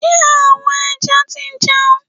Ṣé àwọn ẹja ti jẹun?